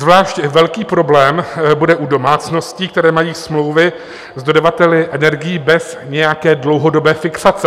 Zvlášť velký problém bude u domácností, které mají smlouvy s dodavateli energií bez nějaké dlouhodobé fixace.